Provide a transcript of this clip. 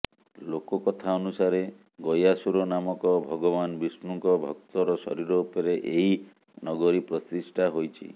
ଲୋକକଥା ଅନୁସାରେ ଗୟାସୁର ନାମକ ଭଗବାନ ବିଷ୍ଣୁଙ୍କ ଭକ୍ତର ଶରୀର ଉପରେ ଏହି ନଗରୀ ପ୍ରତିଷ୍ଠା ହୋଇଛି